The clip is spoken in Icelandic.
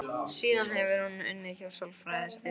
Síðan hefur hún unnið hjá sálfræðideild skóla.